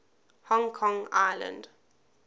hong kong island